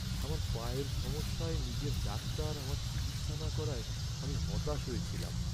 আমার পায়ের সমস্যায় নিজের ডাক্তার আমার চিকিৎসা না করায় আমি হতাশ হয়েছিলাম।